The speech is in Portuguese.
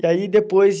E aí depois de...